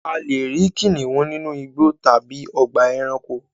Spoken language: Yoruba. A lè rí kìnnìún nínu igbó tábí tábí ògbà èránkò